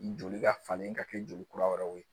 Joli ka falen ka kɛ joli kura wɛrɛw ye